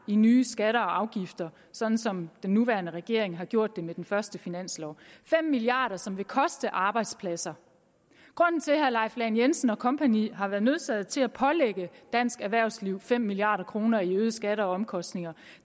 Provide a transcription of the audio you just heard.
i nye skatter og afgifter sådan som den nye regering har gjort det med sin første finanslov fem milliard kr som vil koste arbejdspladser grunden til at herre leif lahn jensen og kompagni har været nødsaget til at pålægge dansk erhvervsliv fem milliard kroner i øgede skatter og omkostninger